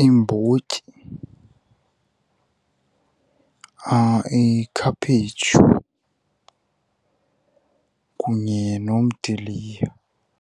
iimbotyi, ikhaphetshu kunye nomdiliya.